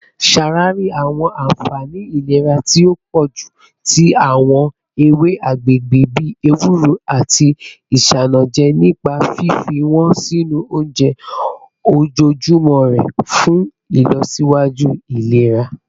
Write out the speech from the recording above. Ṣawari awọn anfani ilera ti o pọju ti awọn ewe agbegbe bi ewuro ati isanaje nipa fifi wọn sinu ounjẹ ojoojumọ rẹ fun ilọsiwaju ilera